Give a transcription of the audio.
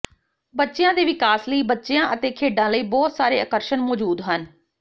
ਬੱਚਿਆਂ ਦੇ ਵਿਕਾਸ ਲਈ ਬੱਚਿਆਂ ਅਤੇ ਖੇਡਾਂ ਲਈ ਬਹੁਤ ਸਾਰੇ ਆਕਰਸ਼ਣ ਮੌਜੂਦ ਹਨ